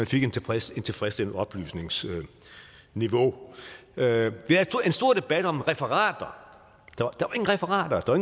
fik et tilfredsstillende tilfredsstillende oplysningsniveau vi havde en stor debat om referater der referater der